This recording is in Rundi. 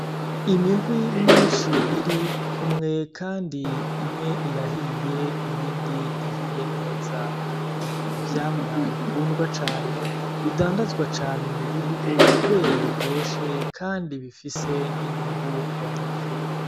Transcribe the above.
Imihwi myinshi irikumwe kandi imwe irahiye, iyindi ntihiye neza; ni ivyamwa bikundwa cane, bidandazwa cane mu gihugu kubera biryoshe kandi bifise n'inyungu ku banyagihugu.